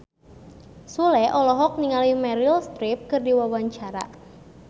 Sule olohok ningali Meryl Streep keur diwawancara